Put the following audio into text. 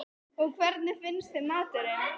Magnús Hlynur: Og hvernig finnst þeim maturinn?